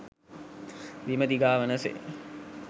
බිම දිගාවන සේ